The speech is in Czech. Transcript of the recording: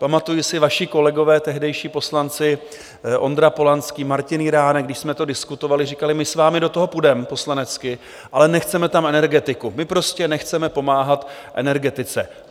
Pamatuji si, vaši kolegové, tehdejší poslanci Ondra Polanský, Martin Jiránek, když jsme to diskutovali, říkali: My s vámi do toho půjdeme poslanecky, ale nechceme tam energetiku, my prostě nechceme pomáhat energetice.